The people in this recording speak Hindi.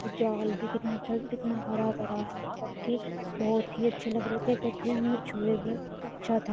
जाल भी कितना अच्छा कितना हरा भरा है। मतलब कि बोहोत ही अच्छे लग रहे थे। कछुएं हमने छूये भी। बोहोत अच्छा था।